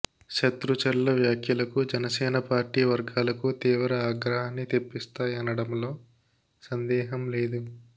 శత్రుచర్ల వ్యాఖ్యలకు జనసేన పార్టీ వర్గాలకు తీవ్ర ఆగ్రహాన్ని తెప్పిస్తాయనడంలో సందేహం లేదు